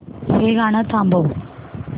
हे गाणं थांबव